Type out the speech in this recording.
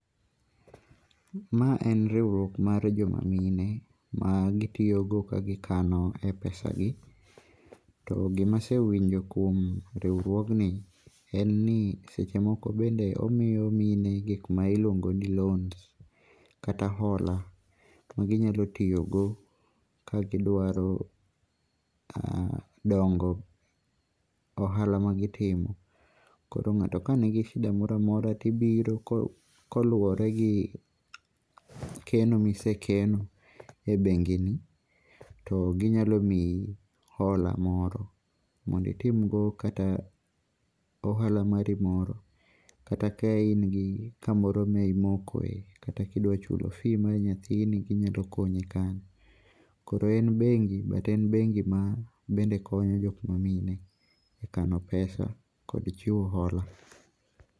Ma en riwruok mar joma mine ma gitiyogo ka gikano e pesa gi. To gima asewinjo kuom riwruogni en ni seche moko bende omiyo mine gikma iluongo ni loan kata ola ma ginyalo tiyogo ka gidrawo dongo ohala ma gi timo. Koro ng'ato kani gi shida moro amora to ibiro ka uluwore gi keno ma isekeno e bengi ni to ginyalo miyi hola moro mondo itimgo kata mana ohala mari moro kata ka in gi kamoro ma imokoe kata ka idwa chulo fee mar nyathini ginyalo konyi kanyo. Koro en bengi but en bengi ma bende konyo jok ma mine e kano pesa kod chiwo hola.